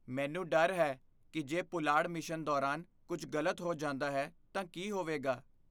ਮੈਨੂੰ ਡਰ ਹੈ ਕਿ ਜੇ ਪੁਲਾੜ ਮਿਸ਼ਨ ਦੌਰਾਨ ਕੁਝ ਗਲਤ ਹੋ ਜਾਂਦਾ ਹੈ ਤਾਂ ਕੀ ਹੋਵੇਗਾ।